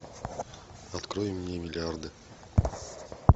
открой мне миллиарды